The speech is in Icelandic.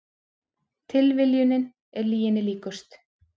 Tilviljunin er lyginni líkust